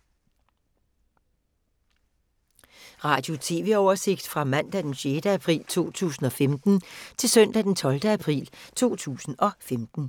Radio/TV oversigt fra mandag d. 6. april 2015 til søndag d. 12. april 2015